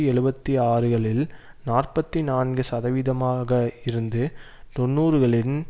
எழுபத்து ஆறுகளில் நாற்பத்தி நான்கு சதவீதமாக இருந்து தொன்னூறுகளின்